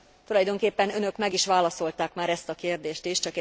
Tulajdonképpen Önök már meg is válaszolták ezt a kérdést is.